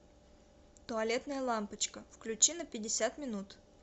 туалетная лампочка включи на пятьдесят минут